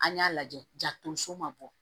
An y'a lajɛ ja tonso ma bɔ